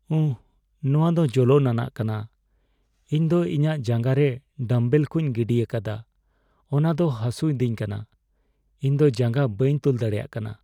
ᱩᱦ ! ᱱᱚᱣᱟ ᱫᱚ ᱡᱚᱞᱚᱱ ᱟᱱᱟᱜ ᱠᱟᱱᱟ ᱾ ᱤᱧ ᱫᱚ ᱤᱧᱟᱜ ᱡᱟᱸᱜᱟ ᱨᱮ ᱰᱟᱢᱵᱮᱞ ᱠᱚᱧ ᱜᱤᱰᱤᱭᱟᱠᱟᱫᱟ, ᱚᱱᱟ ᱫᱚ ᱦᱟᱥᱚᱭ ᱫᱤᱧ ᱠᱟᱱᱟ ᱾ ᱤᱧ ᱫᱚ ᱡᱟᱸᱜᱟ ᱵᱟᱹᱧ ᱛᱩᱞ ᱫᱟᱲᱮᱭᱟᱜ ᱠᱟᱱᱟ ᱾